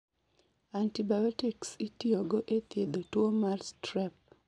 Antibiotics itiyo go e thiedho tuwo mar strep